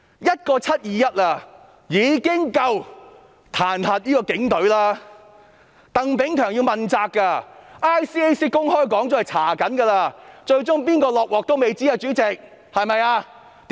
一個"七二一"事件已經足以彈劾警隊，鄧炳強要問責 ，ICAC 公開說過正在調查，最終誰要"下鍋"仍然未知，主席，對嗎？